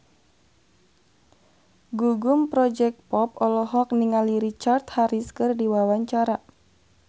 Gugum Project Pop olohok ningali Richard Harris keur diwawancara